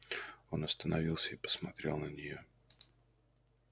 он остановился и посмотрел на неё